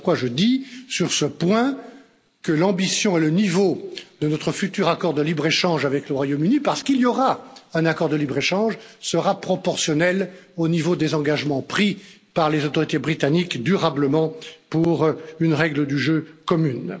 Voilà pourquoi je dis, sur ce point, que l'ambition et le niveau de notre futur accord de libre échange avec le Royaume Uni parce qu'il y aura un accord de libre échange seront proportionnels au niveau des engagements pris par les autorités britanniques durablement pour une règle du jeu commune.